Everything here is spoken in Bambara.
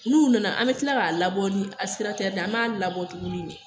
N'u nana an bɛ tila ka labɔ ni ye, an b'a labɔ tuguni de